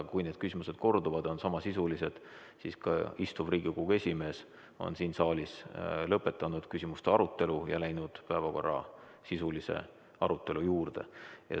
Aga kui need küsimused korduvad ja on samasisulised, siis ka praegune Riigikogu esimees on siin saalis lõpetanud küsimuste arutelu ja läinud päevakorra sisulise arutelu juurde.